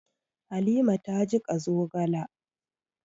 Halima ta jiƙa zogala.